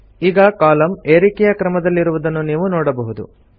ಈಗ ಕಾಲಂ ಏರಿಕೆ ಕ್ರಮದಲ್ಲಿರುವುದನ್ನು ನೀವು ನೋಡಬಹುದು